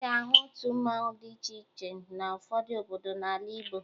Ị ga-ahụ otu mmanwụ dị iche iche n'ụfọdụ obodo n'ala Igbo